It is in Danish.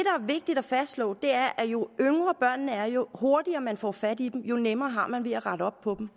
vigtigt at fastslå er at jo yngre børnene er og jo hurtigere man får fat i dem jo nemmere har man ved at rette op på